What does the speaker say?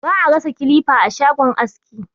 Ba a rasa kilifa a shagon aski.